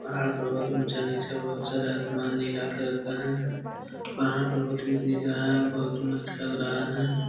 पहाड़ पर्वत ऊँचा-नीचा बहुत सारा आसमान नीला कलर का है । पहाड़ पर्वत भी दिख रहा है। बहुत मस्त लग रहा है ।